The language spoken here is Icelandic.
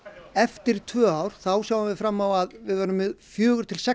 eftir tvö ár sjáum við fram á að vera með fjögur til sex